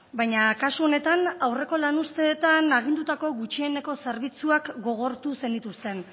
baina kasu honetan aurreko lan uzteetan agindutako gutxieneko zerbitzuak gogortu zenituzten